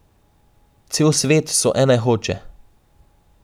Cel svet so ene Hoče.